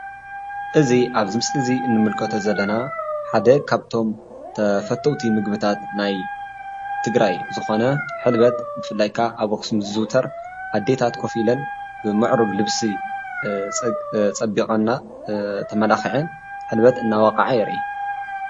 እዚ ኣብዚ ምስሊ እዚ ንምልከቶ ዘለና ሓደ ካብቶም ተፈተውቲ ምግብታት ናይ ትግራይ ዝኾነ ሕልበት ብፍላይ ከዓ ኣብ ኣኽሱም ዝዝውተር ኣዴታት ኮፍ ኢለን ብምዕሩግ ልብሲ ፀቢቐን እና ተመላኺዐን ሕልበት እናወቕዐ የርኢ፡፡